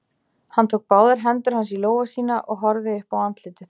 Hann tók báðar hendur hans í lófa sína og horfði upp á andlitið.